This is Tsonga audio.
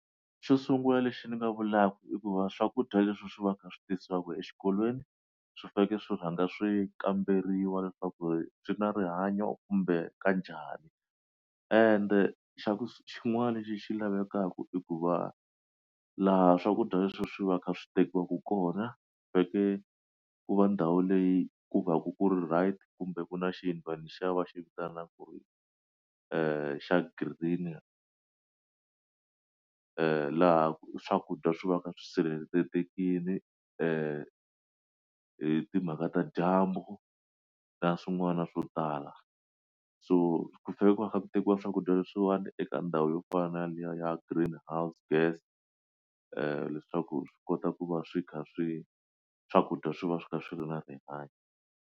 Xo sungula lexi ni nga vulaka i ku va swakudya leswi swi va swi kha swi tisiwaka exikolweni swi fanele swi rhanga swi kamberiwa leswaku swi na rihanyo kumbe ka njhani ende xa ku su xin'wana lexi xi lavekaku i ku va laha swakudya leswi swi va kha swi tekiwaka kona veke ku va ndhawu leyi ku va ku ku right kumbe ku na xin va ni xava xi vitana ku ri i xa green laha ku swakudya swi va swi sirhelelekile i timhaka ta dyambu na swin'wana swo tala so ku chava ku tekiwa swakudya leswiwani eka ndhawu yo fana na liya ya green house gas i leswaku swi kota ku va swi kha swi swakudya swi va swi ka swilo na rihanyo.